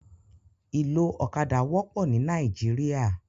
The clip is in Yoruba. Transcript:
Iló ókàdá wòpò ni Nàìjíríà